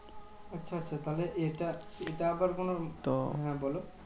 আচ্ছা আচ্ছা তাহলে এটা এটা আবার কোনো হ্যাঁ বোলো?